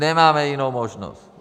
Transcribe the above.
Nemáme jinou možnost.